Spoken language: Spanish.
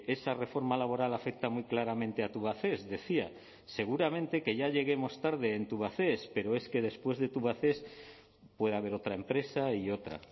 esa reforma laboral afecta muy claramente a tubacex decía seguramente que ya lleguemos tarde en tubacex pero es que después de tubacex puede haber otra empresa y otra